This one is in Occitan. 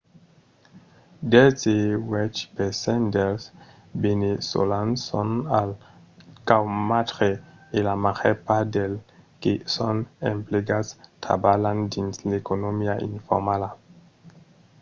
dètz-e-uèch per cent dels veneçolans son al caumatge e la màger part dels que son emplegats trabalhan dins l’economia informala